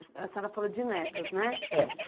A senhora falou de netos, né?